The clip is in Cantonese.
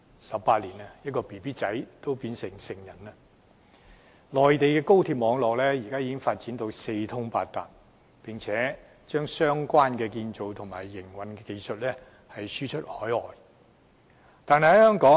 十八年的時間，嬰兒也長大成人了。內地高鐵網絡發展至今已四通八達，更把相關建造和營運技術輸出海外。